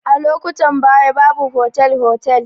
A lokutan baya babu fotel fotel